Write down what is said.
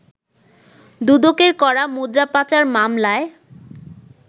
দুদকের করা মুদ্রা পাচার মামলায়